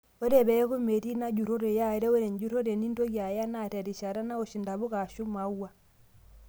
Ore peeku metii ina jurrore yaare, ore enjurrore nintoki Aya naa terishata naosh ntapuka ashuu imauwa